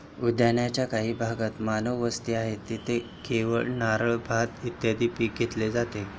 उद्यानाच्या काही भागात मानवी वस्ती आहे जेथे केळी, नारळ, भात, इत्यादी पिके घेतली जातात.